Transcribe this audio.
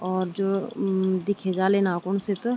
और जो अम दिखे जाल इना कुन सित।